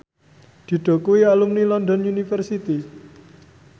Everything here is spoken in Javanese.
Dido kuwi alumni London University